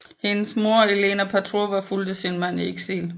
Hendes mor Elena Petrovna fulgte sin mand i eksil